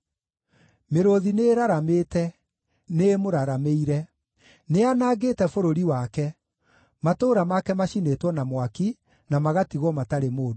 Mĩrũũthi nĩĩraramĩte; nĩĩmũraramĩire. Nĩyanangĩte bũrũri wake; matũũra make macinĩtwo na mwaki, na magatigwo matarĩ mũndũ.